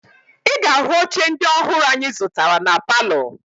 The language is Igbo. Ị ga-ahụ oche ndị ọhụrụ anyị zụtara na palọ